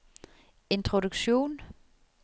introduksjon